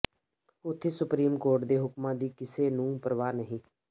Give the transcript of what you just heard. ਉੱਥੇ supreme court ਦੇ ਹੁਕਮਾਂ ਦੀ ਕਿਸੇ ਨੂੰ ਪ੍ਰਵਾਹ ਨਹੀਂ